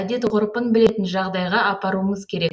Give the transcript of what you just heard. әдет ғұрпын білетін жағдайға апаруымыз керек